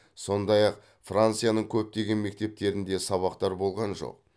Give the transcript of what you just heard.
сондай ақ францияның көптеген мектептерінде сабақтар болған жоқ